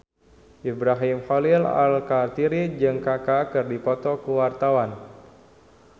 Ibrahim Khalil Alkatiri jeung Kaka keur dipoto ku wartawan